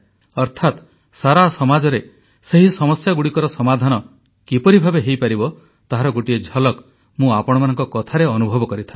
ଅର୍ଥାତ୍ ସାରା ସମାଜରେ ସେହି ସମସ୍ୟାଗୁଡ଼ିକର ସମାଧାନ କିପରି ଭାବେ ହୋଇପାରିବ ତାହାର ଗୋଟିଏ ଝଲକ୍ ମୁଁ ଆପଣମାନଙ୍କ କଥାରେ ଅନୁଭବ କରିଥାଏ